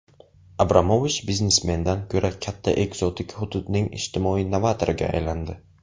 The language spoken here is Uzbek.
Abramovich biznesmendan ko‘ra katta ekzotik hududning ijtimoiy novatoriga aylandi.